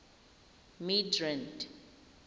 midrand